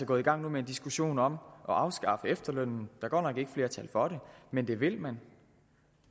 gået i gang med en diskussion om at afskaffe efterlønnen er godt nok ikke flertal for det men det vil man